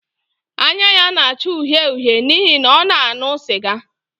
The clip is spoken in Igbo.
Anya ya na-acha uhie uhie n’ihi na ọ na-aṅụ sịga